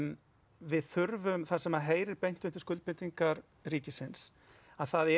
við þurfum það sem heyrir beint undir skuldbindingar ríkisins það er